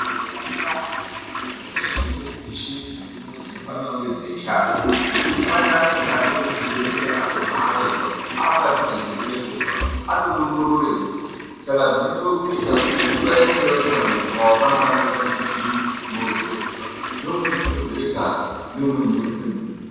Muzvibhehlera mwona imwomwo mune dzimweni michini dzirimwo dzinofanira kunge dzeishanda ngekuti pane amweni anouya kuzvibhehlera atohahairwa apadhuze nekude kufa atorongorera rufu Saka zvinodiwa kuita mvura inenge yapera mumuviri mwawo panofanirwa kunge pane michini inowedzere mvura neimweni inowedzere ngazi neimweni inowedzere mututu .